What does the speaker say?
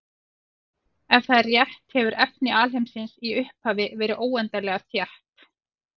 Ef það er rétt hefur efni alheimsins í upphafi verið óendanlega þétt.